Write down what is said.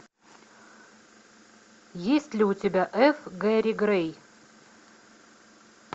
есть ли у тебя ф гэри грей